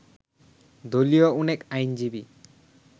দলীয় অনেক আইনজীবী